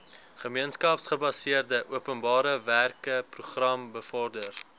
gemeenskapsgebaseerde openbarewerkeprogram bevorder